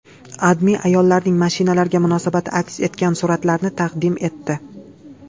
AdMe ayollarning mashinalarga munosabati aks etgan suratlarni taqdim etdi .